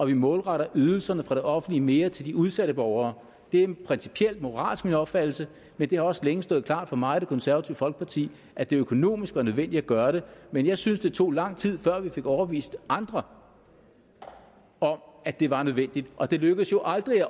vi målretter ydelserne fra det offentlige mere til de udsatte borgere det er principielt og moralsk min opfattelse men det har også længe stået klart for mig og det konservative folkeparti at det økonomisk var nødvendigt at gøre det men jeg synes det tog lang tid før vi fik overbevist andre om at det var nødvendigt og det lykkedes jo aldrig